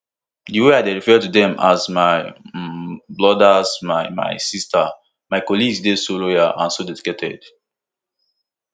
di way i dey refer to dem as my um brothers my my sisters my colleagues dey so loyal so dedicated